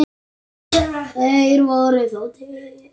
Þeir voru þó til.